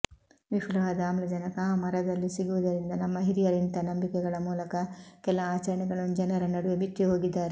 ವಿಫುಲವಾದ ಆಮ್ಲಜನಕ ಆ ಮರದಲ್ಲಿ ಸಿಗುವುದರಿಂದ ನಮ್ಮ ಹಿರಿಯರು ಇಂಥ ನಂಬಿಕೆಗಳ ಮೂಲಕ ಕೆಲ ಆಚರಣೆಗಳನ್ನು ಜನರ ನಡುವೆ ಬಿತ್ತಿಹೋಗಿದ್ದಾರೆ